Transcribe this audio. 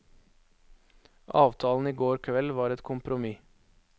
Avtalen i går kveld var et kompromiss.